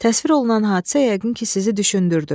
Təsvir olunan hadisə yəqin ki, sizi düşündürdü.